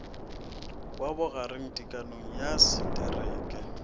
wa bogareng tekanyong ya setereke